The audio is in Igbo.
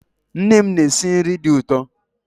Nne m na-esi nri dị ụtọ